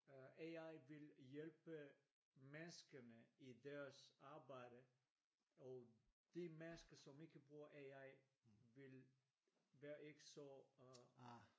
Øh AI vil hjælpe menneskerne i deres arbejde og de mennesker som ikke bruger AI vil være ikke så øh